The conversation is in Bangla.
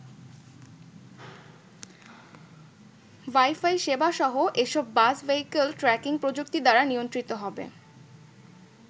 ওয়াইফাই সেবাসহ এসব বাস ভেহিক্যাল ট্র্যাকিং প্রযুক্তি দ্বারা নিয়ন্ত্রিত হবে।